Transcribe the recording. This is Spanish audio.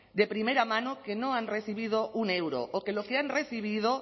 de primera mano que no han recibido un euro o que lo que han recibido